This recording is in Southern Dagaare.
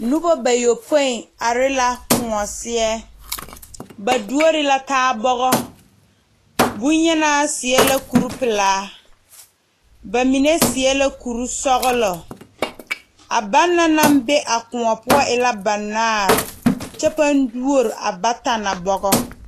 Noba bayopoe are la kõɔ seɛ ba doɔre la taa bogɔ bonyenaa seɛ kuri pelaa bamine seɛ la kuri sɔglɔ a banna naŋ be a kõɔ poɔ e la noba banaare kyɛ paa doɔre a bata na bogɔ.